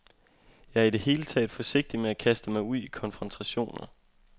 Jeg er i det hele taget forsigtig med at kaste mig ud i konfrontationer.